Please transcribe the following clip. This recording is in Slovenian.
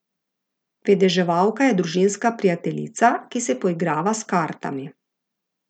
Vedeževalka je družinska prijateljica, ki se poigrava s kartami.